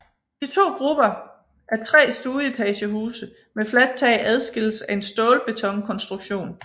De to grupper af tre stueetagehuse med fladt tag adskilles af en stålbetonkonstruktion